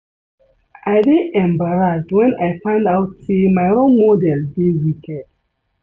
I dey embarrassed wen I find out say my role model dey wicked